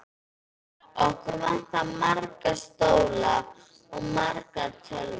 Okkur vantar marga stóla og margar tölvur.